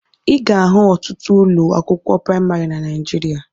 Ị ga-ahụ ọtụtụ ụlọ akwụkwọ praimarị na Naijiria